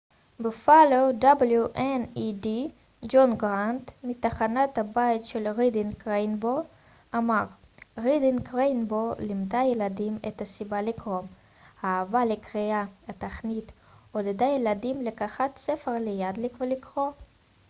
"ג'ון גרנט מ-wned בופאלו תחנת הבית של רידינג ריינבוו אמר "רידינג ריינבוו לימדה ילדים את הסיבה לקרוא,... האהבה לקריאה — [התכנית] עודדה ילדים לקחת ספר ליד ולקרוא.""